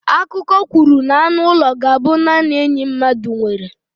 Akụkọ kwuru na anụ ụlọ ga-abụ naanị enyi mmadụ nwere.